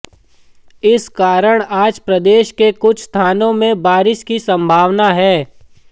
इस कारण आज प्रदेश के कुछ स्थानों में बारिश की संभावना है